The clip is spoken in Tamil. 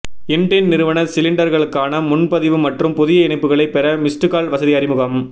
இண்டேன் நிறுவன சிலிண்டர்களுக்கான முன்பதிவு மற்றும் புதிய இணைப்புகளை பெற மிஸ்டுகால் வசதி அறிமுகம்